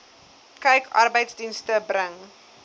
kyk arbeidsdienste bring